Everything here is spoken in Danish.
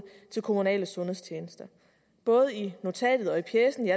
til kommunale sundhedstjenester både i notatet og i pjecen